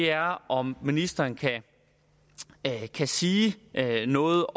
er om ministeren kan sige noget